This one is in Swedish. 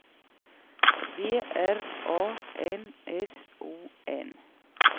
B R A N S O N